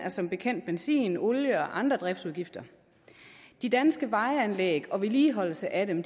som bekendt af benzin olie og andre driftsudgifter de danske vejanlæg og vedligeholdelse af dem